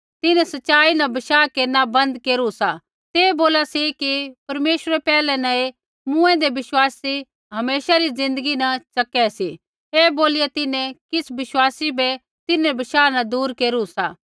तिन्हैं सच़ाई न बशाह केरना बन्द केरू सा ते बोला सी कि परमेश्वरै पैहलै न ही मूँऐंदै विश्वासी हमेशा री ज़िन्दगी न च़कै सी ऐ बोलिया तिन्हैं किछ़ विश्वासी बै तिन्हरै बशाह न दूर केरू सा